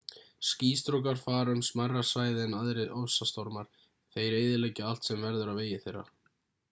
skýstrókar fara um smærra svæði en aðrir ofsastormar en þeir eyðileggja allt sem verður á vegi þeirra